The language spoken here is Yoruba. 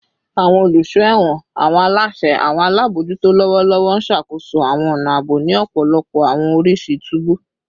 Awọn oluso ẹwọn / awọn alaṣẹ / awọn alabojuto lọwọlọwọ n ṣakoso awọn ọna aabo ni ọpọlọpọ awọn oriṣi tubu